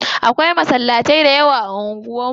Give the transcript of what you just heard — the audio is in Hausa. Akwai masallatai da yawa a unguwan mu.